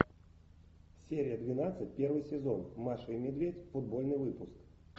серия двенадцать первый сезон маша и медведь футбольный выпуск